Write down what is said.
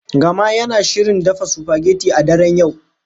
Gama yana shirin dafa supageti a daren yau.